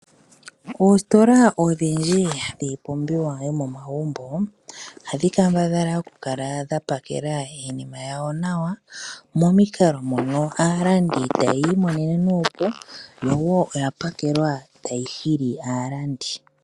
Oostola odhindji dhiipumbiwa yomomagumbo ohadhi kambadhala okukala dha pakela iinima yawo nawa, momikalo mono aalandi taya imonene nuupu, yo wo oya pakelwa tayi hili aalandi.